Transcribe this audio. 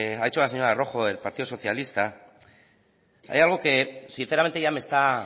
ha dicho la señora rojo del partido socialista hay algo que sinceramente ya me está